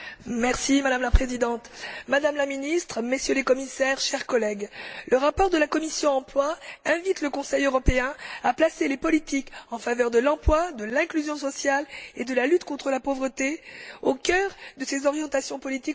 Madame la Présidente, Madame la Ministre, Messieurs les Commissaires, chers collègues, le rapport de la commission de l'emploi et des affaires sociales invite le Conseil européen à placer les politiques en faveur de l'emploi, de l'inclusion sociale et de la lutte contre la pauvreté au cœur de ses orientations politiques pour